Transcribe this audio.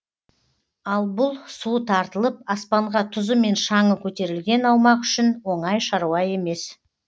ал бұл суы тартылып аспанға тұзы мен шаңы көтерілген аумақ үшін оңай шаруа емес